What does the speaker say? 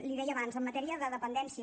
li deia abans en matèria de dependència